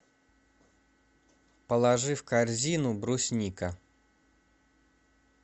положи в корзину брусника